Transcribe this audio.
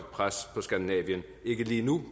pres på skandinavien ikke lige nu